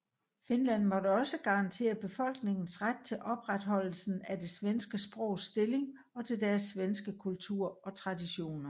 Finland måtte også garantere befolkningens ret til opretholdelsen af det svenske sprogs stilling og til deres svenske kultur og traditioner